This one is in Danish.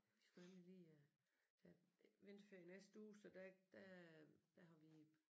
Vi skulle nemlig lige øh der er vinterferie i næste uge så der der der har vi